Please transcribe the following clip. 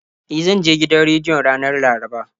E, zan je gidan rediyon ranar Laraba.